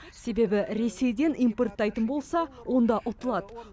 себебі ресейден импорттайтын болса онда ұтылады